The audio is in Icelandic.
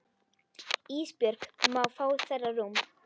Ísbjörg má fá þeirra rúm.